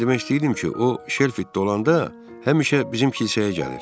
Mən demək istəyirdim ki, o Şelfitdə olanda həmişə bizim kilsəyə gəlir.